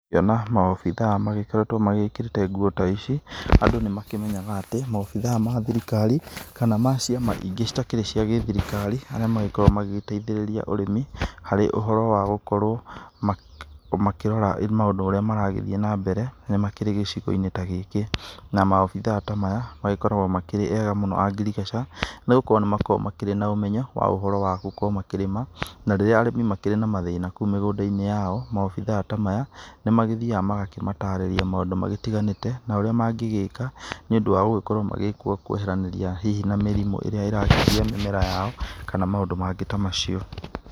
Ũngiona ma obitha magĩkĩrĩte nguo ta ici, andũ nĩ makĩmenyaga atĩ ma obitha ma thirikari kana ma ciama ingĩ itakĩrĩ cia gĩthirikari, arĩa ma gĩkoragwo magĩteithĩrĩria ũrĩmi harĩ ũhoro wa gũkorwo makĩrora maũndũ marĩa maragĩthiĩ na mbere, nĩ makĩrĩ gĩcigoinĩ ta gĩkĩ. Na ma obitha ta maya magĩkoragwo makĩrĩ ega muno a ngirigaca nĩ gukorwo nĩ makoragwo marĩ na ũmenyo wa ũhoro wa gũkorwo makĩrĩma na rĩrĩa arĩmi makĩrĩ na mathĩna kũu mĩgũndai-inĩ yao. Ma obitha ta maya nĩ magĩthiaga makamatarĩria maũndũ matiganĩte na ũrĩa mangĩgĩka nĩ ũndũ wa gũkorwo magĩkorwo kweheranĩria hihi na mĩrimũ ĩria irathũkia mĩmera yao kana maũndũ mangĩ ta macio.